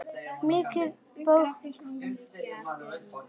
Hinrik bróðir okkar er dáinn.